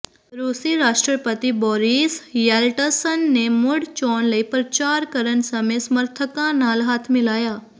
ਰੂਸੀ ਰਾਸ਼ਟਰਪਤੀ Boris Yeltsin ਨੇ ਮੁੜ ਚੋਣ ਲਈ ਪ੍ਰਚਾਰ ਕਰਨ ਸਮੇਂ ਸਮਰਥਕਾਂ ਨਾਲ ਹੱਥ ਮਿਲਾਇਆ